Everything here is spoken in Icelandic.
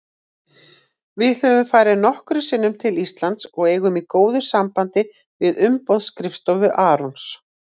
Við höfum farið nokkrum sinnum til Íslands og eigum í góðu sambandi við umboðsskrifstofu Arons.